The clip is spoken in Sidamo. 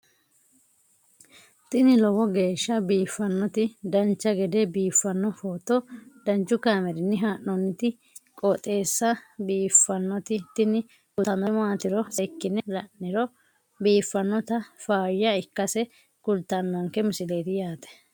tini lowo geeshsha biiffannoti dancha gede biiffanno footo danchu kaameerinni haa'noonniti qooxeessa biiffannoti tini kultannori maatiro seekkine la'niro biiffannota faayya ikkase kultannoke misileeti yaate